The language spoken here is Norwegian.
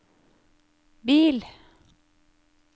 bil